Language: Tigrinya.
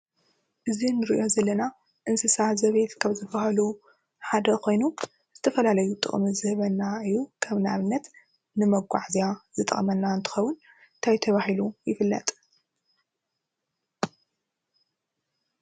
እዚ ንሪኦ ዘለና እንስሳ ዘቤት ካብ ዝበሃሉ ሓደ ኮይኑ ዝተፈላለየ ጥቕሚ ዝህበና እዩ፡፡ ከም ኣብነት ንመጓዓዝያ ዝጠቕመና እንትኸውን እንታይ ተባሂሉ ይፍለጥ?